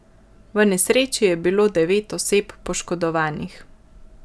V nesreči je bilo devet oseb poškodovanih.